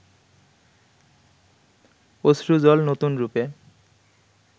অশ্রুজল নতুন রূপে